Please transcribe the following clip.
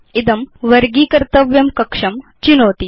इदं वर्गीकर्तव्यं कक्षं चिनोति